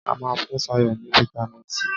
A máa fún Sayo ní fitamisi C.